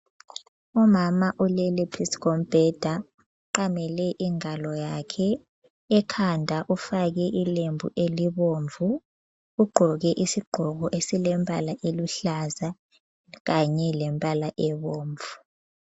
Umama ulele phezu kombheda, uqamele ingalo yakhe, ekhanda ufake ilembu elibomvu. Ugqoke isigqoko esilembala eluhlaza kanye lembala ebomvu.